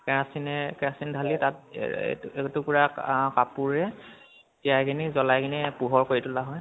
কেৰাচিনেৰে কেৰাচিন ঢালি তাত এ এটুকুৰা আহ কাপোৰে তিয়াই কিনে জ্বলাই কিনে পোহৰ কৰি তোলা হয়